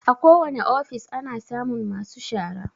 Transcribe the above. Akowane ofis ana samun masu shara.